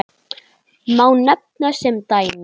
Má nefna sem dæmi